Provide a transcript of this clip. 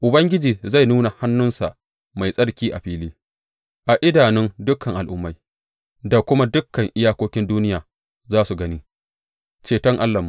Ubangiji zai nuna hannunsa mai tsarki a fili a idanun dukan al’ummai, da kuma dukan iyakokin duniya za su gani ceton Allahnmu.